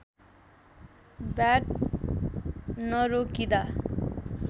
bat नरोकिदा